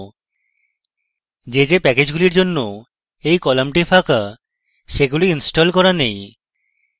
the the প্যাকেজগুলির জন্য এই কলামটি ফাঁকা সেগুলি ইনস্টল করা নেই